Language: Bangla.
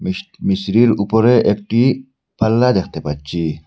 মিশ্রির উপরে একটি পাল্লা দেখতে পাচ্ছি।